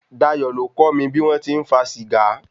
Dayọ̀ ló kọ́ mi bí wọn ti ń fa Sìgá.